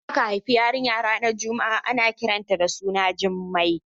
Idan aka haifi yarinya ranar Juma'a ana kiran ta da suna Jumai